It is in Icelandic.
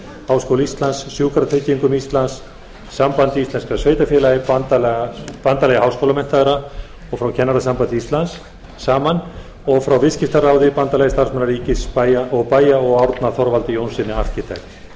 háskóla íslands sjúkratryggingum íslands sambandi íslenskra sveitarfélaga bandalagi háskólamenntaðra og kennarasambandi íslands saman og frá viðskiptaráði bandalagi starfsmanna ríkis og bæja og árna þorvaldi jónssyni arkitekt